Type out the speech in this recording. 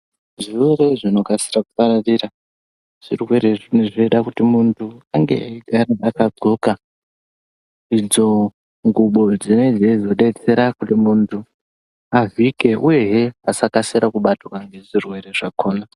Zvirwere zvinokasira kupararira zvirwere zvinenge zveida kuti muntu ange akancoka idzo ngubo dzinenge dzinodetsera kuti muntu avhike uyezve asakasira kubatwa ngezvirwere zvakhona.